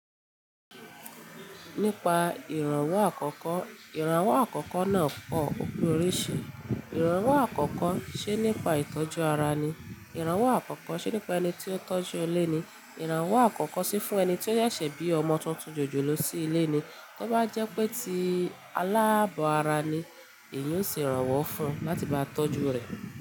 Nípa ìrànwọ́ àkọ́kọ́, ìrànwọ́ àkọ́kọ́ náà pọ̀ òpin oríṣi. Ìrànwọ́ àkọ́kọ́ ṣe nípa ìtọ́jú ara ni, ìrànwọ́ àkọ́kọ́ ṣe nípa ẹni tí ó ń tọ́jú ilé ni, ìrànwọ́ àkọ́kọ́ sì fún ẹni tí ó ṣẹ̀ṣẹ̀ bí ọmọ tuntun jòjòló sí ilé ni. To bá jẹ́ pé tí alábọ̀ ara ni, èyín n ṣe ìrànwọ́ fún un láti máa tọ́jú rẹ̀.